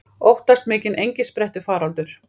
Óttast mikinn engisprettufaraldur